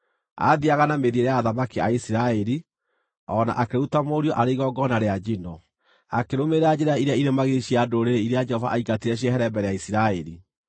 Aathiiaga na mĩthiĩre ya athamaki a Isiraeli, o na akĩruta mũriũ arĩ igongona rĩa njino, akĩrũmĩrĩra njĩra iria irĩ magigi cia ndũrĩrĩ iria Jehova aingatire ciehere mbere ya Isiraeli.